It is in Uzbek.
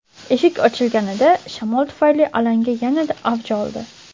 Eshik ochilganida, shamol tufayli alanga yanada avj oldi.